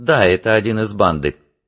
да это один из банды